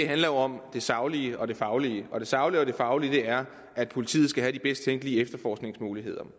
handler om det saglige og det faglige og det saglige og faglige er at politiet skal have de bedst tænkelige efterforskningsmuligheder